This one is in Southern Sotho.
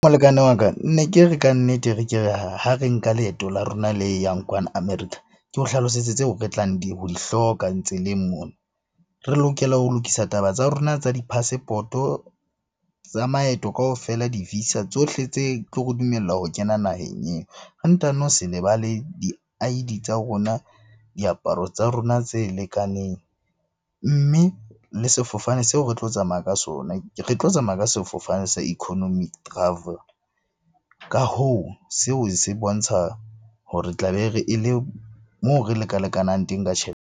Molekane wa ka ne ke re kannete re ke ha re nka leeto la rona le yang kwana America, ke o hlalosetse tseo re tlang ho di hloka tseleng mona. Re lokela ho lokisa taba tsa rona tsa di-passport-o, tsa maeto kaofela di-visa, tsohle tse tlo re dumella ho kena naheng eo, ho ntano se lebale di-I_D tsa rona, diaparo tsa rona tse lekaneng. Mme le sefofane seo re tlo tsamaya ka sona, re tlo tsamaya ka sefofane sa economy travel. Ka hoo, seo se bontsha ho re tla be re e le, moo re leka-lekanang teng ka tjhelete.